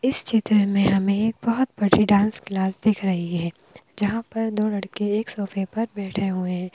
इस चित्र में हमें एक बहोत बड़ी डांस क्लास दिख रही है जहां पर दो लड़के एक सोफे पर बैठे हुए--